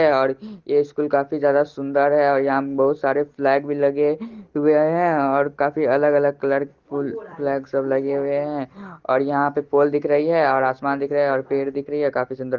और ये स्कूल काफी ज्यादा सुंदर है और यहां बहुत सारे फ्लैग भी लगे हुए हैं। और काफी अलग- अलग कलर के फ्लैग सब लगे हुए हैं और यहां पे पोल दिख रही है और आसमान दिख रही है और पेड़ दिख रही है काफी सुंदर--